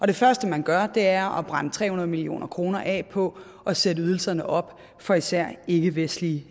det første man gør er at brænde tre hundrede million kroner af på at sætte ydelserne op for især ikkevestlige